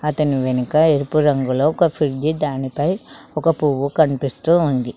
అతని వెనుక ఎరుపు రంగులో ఒక ఫ్రిడ్జి దానిపై ఒక పువ్వు కనిపిస్తూ ఉంది